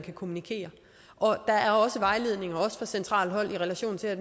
kommunikere og der er også vejledninger også fra centralt hold i relation til at